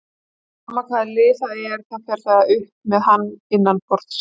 Sama hvaða lið það er, þá fer það upp með hann innanborðs.